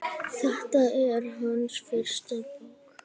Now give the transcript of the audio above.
Þetta er hans fyrsta bók.